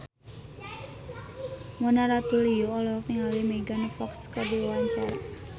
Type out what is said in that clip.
Mona Ratuliu olohok ningali Megan Fox keur diwawancara